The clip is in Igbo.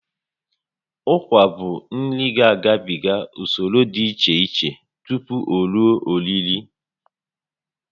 Ụkwa bụ nri ga agabigs usoro dị iche iche tupu o rue oriri